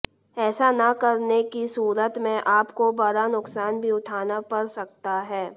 ऐसा न करने की सूरत में आपको बड़ा नुकसान भी उठाना पड़ सकता है